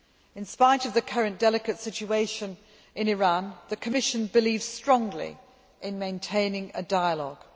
In spite of the current delicate situation in Iran, the Commission believes strongly in maintaining a dialogue.